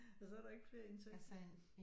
Og så er der ikke flere indtægter